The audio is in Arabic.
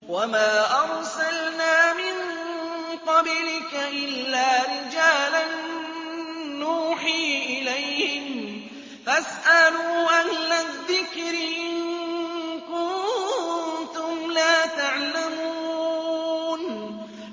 وَمَا أَرْسَلْنَا مِن قَبْلِكَ إِلَّا رِجَالًا نُّوحِي إِلَيْهِمْ ۚ فَاسْأَلُوا أَهْلَ الذِّكْرِ إِن كُنتُمْ لَا تَعْلَمُونَ